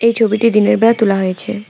এই ছবিটি দিনের বেলা তোলা হয়েছে।